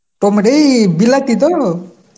Tomato এই বিলাতি তো?